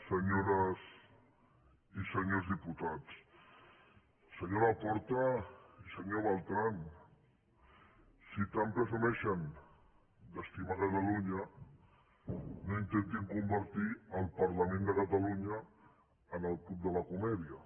senyores i senyors diputats senyor laporta i senyor bertran si tant presumeixen d’estimar catalunya no intentin convertir el parlament de catalunya en el club de la comèdia